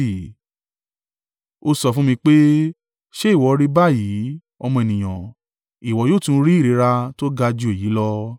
Ó sọ fún mi pé, “Ṣé ìwọ rí báyìí, ọmọ ènìyàn? Ìwọ yóò tún rí ìríra tó ga jù èyí lọ.”